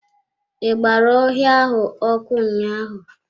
I gbara ọhịa ahụ ọkụ ụnyaahụ.